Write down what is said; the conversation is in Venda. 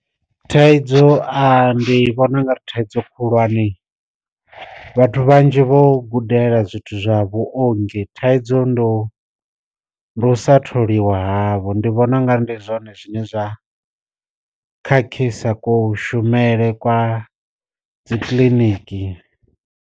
Thaidzo ndi vhona u nga ri thaidzo khulwane, vhathu vhanzhi vho gudela zwithu zwa vhuongi thaidzo ndo usa tholiwa havho, ndi vhona u nga ri ndi zwone zwine zwa khakhisa ku shumisele kwa dzi kiḽiniki.